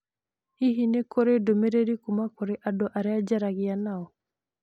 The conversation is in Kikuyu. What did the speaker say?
Hihi nĩ kũrĩ ndũmĩrĩri kuuma kũrĩ andũ arĩa njaragia nao?